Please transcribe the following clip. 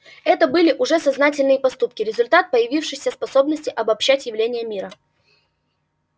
это были уже сознательные поступки результат появившейся способности обоб-щать явления мира